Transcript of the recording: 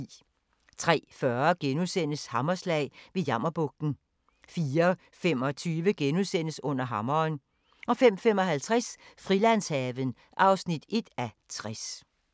03:40: Hammerslag – ved Jammerbugten * 04:25: Under hammeren * 05:55: Frilandshaven (1:60)